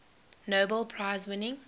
nobel prize winning